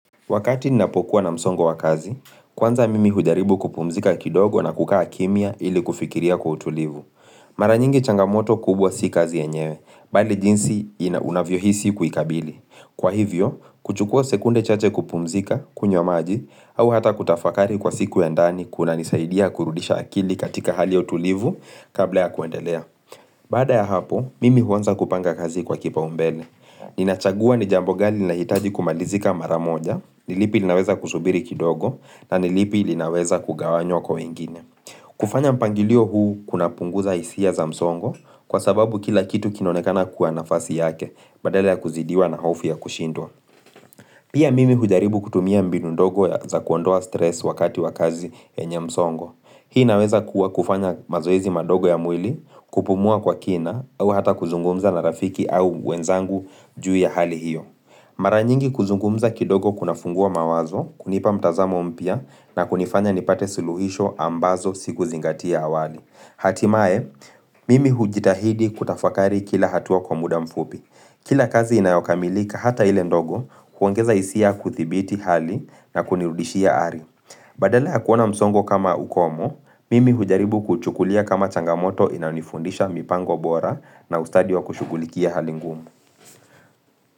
Wakati ninapokuwa na msongo wa kazi, kwanza mimi hujaribu kupumzika kidogo na kukaa kimia ili kufikiria kwa utulivu. Mara nyingi changamoto kubwa si kazi yenyewe, bali jinsi ina unavyohisi kuikabili. Kwa hivyo, kuchukua sekunde chache kupumzika kunywa maji au ata kutafakari kwa siku ya ndani kunanisaidia kurudisha akili katika hali ya utulivu kabla ya kuendelea. Baada ya hapo, mimi huanza kupanga kazi kwa kipaumbele. Ninachagua ni jambo gani linahitaji kumalizika maramoja Nilipi linaweza kusubiri kidogo na nilipi linaweza kugawanywa kwa wengine kufanya mpangilio huu kuna punguza hisia za msongo Kwa sababu kila kitu kinonekana kwa nafasi yake Badala ya kuzidiwa na hofu ya kushindwa Pia mimi hujaribu kutumia mbinu ndogo za kuondoa stress wakati wakazi yenye msongo. Hii inaweza kuwa kufanya mazoezi madogo ya mwili, kupumua kwa kina au ata kuzungumza na rafiki au wenzangu juu ya hali hiyo. Mara nyingi kuzungumza kidogo kuna fungua mawazo, kunipa mtazamo mpya na kunifanya nipate siluhisho ambazo siku zingati hapo awali. Hatimaye, mimi hujitahidi kutafakari kila hatua kwa muda mfupi. Kila kazi inayokamilika ata ile ndogo huongeza hisia kuthibiti hali na kunirudishia ari. Badala ya kuona msongo kama ukomo, mimi hujaribu kuchukulia kama changamoto inanifundisha mipango bora na ustadi wa kushugulikia hali ngumu.